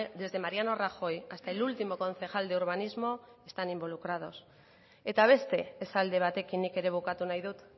desde mariano rajoy hasta el último concejal de urbanismo están involucrados eta beste esaldi batekin nik ere bukatu nahi dut